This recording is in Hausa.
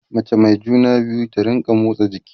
mace Mai juna biyu ta rinka motsa jiki